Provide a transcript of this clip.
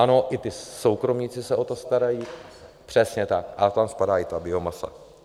Ano, i ti soukromníci se o to starají, přesně tak, a tam spadá i ta biomasa.